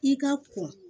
I ka ko